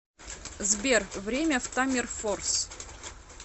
сбер время в таммерфорс